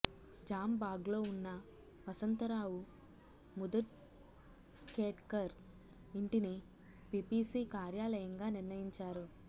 జామ్బాగ్లో వున్న వసంతరావు ముదఖేడ్కర్ ఇంటిని పిపిసి కార్యాలయంగా నిర్ణయించారు